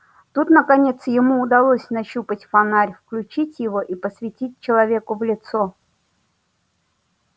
тут наконец ему удалось нащупать фонарь включить его и посветить человеку в лицо